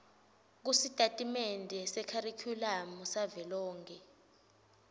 kusitatimende sekharikhulamu savelonkhe